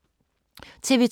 TV 2